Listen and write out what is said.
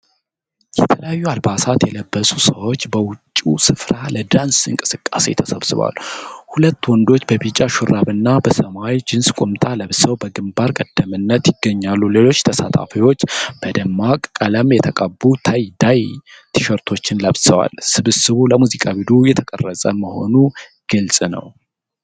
የተለያዩ አልባሳት የለበሱ ሰዎች በውጭው ስፍራ ለዳንስ እንቅስቃሴ ተሰብስበዋል። ሁለት ወንዶች በቢጫ ሹራብና በሰማያዊ ጂንስ ቁምጣ ለብሰው በግንባር ቀደምትነት ይገኛሉ። ሌሎች ተሳታፊዎች በደማቅ ቀለም የተቀቡ (ታይ-ዳይ) ቲሸርቶችን ለብሰዋል። ስብስቡ ለሙዚቃ ቪዲዮ የተቀረጸ መሆኑ ግልጽ ነው።